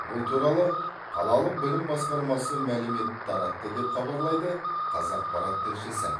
бұл туралы қалалық білім басқармасы мәлімет таратты деп хабарлайды қазақпарат тілшісі